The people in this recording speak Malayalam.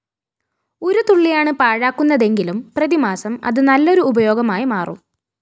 ഒരു തുള്ളിയാണ് പാഴാക്കുന്നതെങ്കിലും പ്രതിമാസം അത് നല്ലൊരു ഉപയോഗമായി മാറും